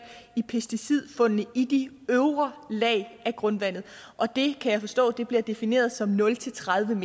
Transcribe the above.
i pesticidfundene i de øvre lag af grundvandet og det kan jeg forstå bliver defineret som nul tredive